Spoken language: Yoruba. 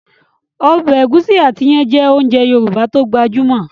Ọbẹ̀ ẹ̀gúsí àti iyán jẹ́ ounjẹ Yorùbá tó gbajúmọ̀